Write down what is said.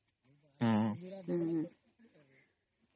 noise